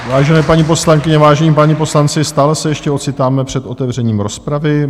Vážené paní poslankyně, vážení páni poslanci, stále se ještě ocitáme před otevřením rozpravy.